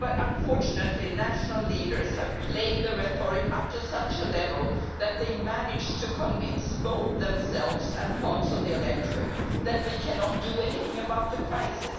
but unfortunately national leaders have played the rhetoric up to such a level that they manage to convince both themselves and parts of the electorate that we cannot do anything about the crisis.